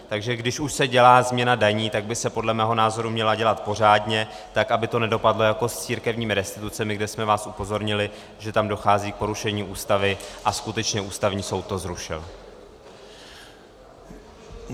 Takže když už se dělá změna daní, tak by se podle mého názoru měla dělat pořádně, tak, aby to nedopadlo jako s církevními restitucemi, kde jsme vás upozornili, že tam dochází k porušení Ústavy, a skutečně Ústavní soud to zrušil.